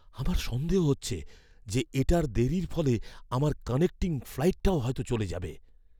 আমার সন্দেহ হচ্ছে যে, এটার দেরির ফলে আমার কানেক্টিং ফ্লাইটটাও হয়তো চলে যাবে।